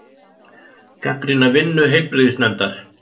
Gagnrýna vinnu heilbrigðisnefndar